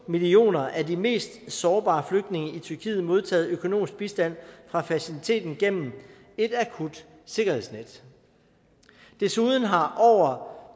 millioner af de mest sårbare flygtninge i tyrkiet modtaget økonomisk bistand fra faciliteten gennem et akut sikkerhedsnet desuden har over